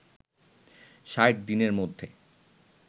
৬০ দিনের মধ্যে